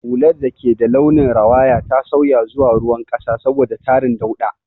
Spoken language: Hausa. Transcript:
Hular da ke da launin rawaya ta sauya zuwa ruwan ƙasa saboda tarin dauɗa.